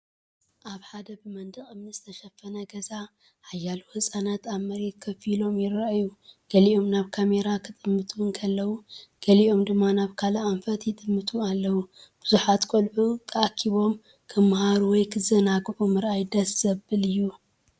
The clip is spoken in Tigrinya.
ኣብ ሓደ ብመንደቕ እምኒ ዝተሸፈነ ገዛ፡ ሓያሎ ህጻናት ኣብ መሬት ኮፍ ኢሎም ይረኣዩ። ገሊኦም ናብ ካሜራ ክጥምቱ እንከለዉ፡ ገሊኦም ድማ ናብ ካልእ ኣንፈት ይጥምቱ ኣለዉ። ብዙሓት ቆልዑ ተኣኪቦም ክመሃሩ ወይ ክዘናግዑ ምርኣይ ደስ ዘብል እዩ።